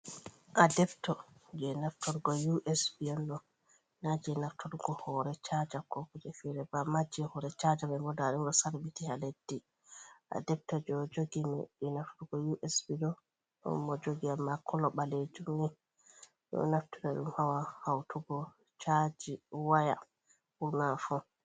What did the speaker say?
Adebto jei nafturgo usb on ɗo, na jei nafturgo hoore chaja ko kuje feere ba, naa jei hoore chaja me boda dimdo sarbiti ha leddi adebto jo jogimi je naftorgo us b do don mo jogi a ma kulo balejumi do naftuda dum hawa hautugo chaji waya una fo